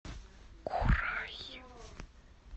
курай